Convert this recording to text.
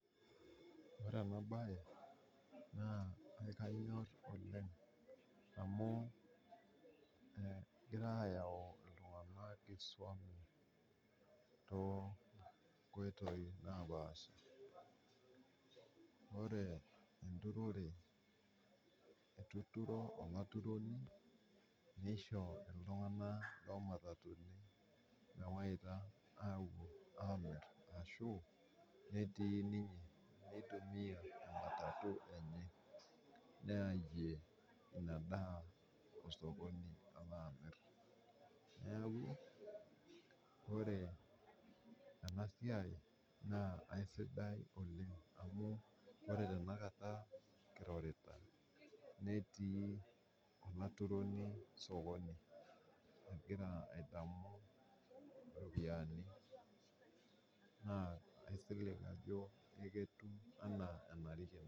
Ore ena baye naa kenyorr oleng amuu egira aayau ltunganak esuom too nkoitoi napasha. Ore enturore etuturo olaituroni neisho ltungana loo matatuni meewaita aapuo aamir ashu netii ninye oitumiya matatu enye, neayie ina daa osokoni tanaa emir, naaku ore ana siai naa esidai oleng amuu matejo tana kata kirorita, netii ilaturoni sokoni, egira adamu iropiyiani naa aisilig ajo neja etiu anaa enarikino.